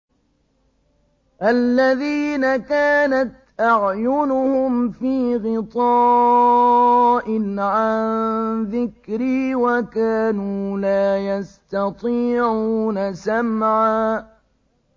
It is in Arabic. الَّذِينَ كَانَتْ أَعْيُنُهُمْ فِي غِطَاءٍ عَن ذِكْرِي وَكَانُوا لَا يَسْتَطِيعُونَ سَمْعًا